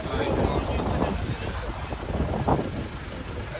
Çox sağ olun, Allah razı olsun, Allah can sağlığı versin.